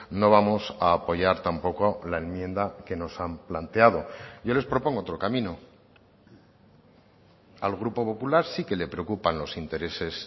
no vamos a apoyar tampoco la enmienda que nos han planteado yo les propongo otro camino al grupo popular sí que le preocupan los intereses